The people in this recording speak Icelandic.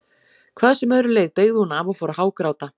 Hvað sem öðru leið beygði hún af og fór að hágráta.